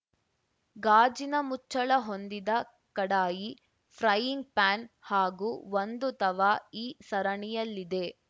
ಗಾಜಿನ ಮುಚ್ಚಳ ಹೊಂದಿದ ಕಡಾಯಿ ಫ್ರೈಯಿಂಗ್‌ ಪ್ಯಾನ್‌ ಹಾಗೂ ಒಂದು ತವಾ ಈ ಸರಣಿಯಲ್ಲಿದೆ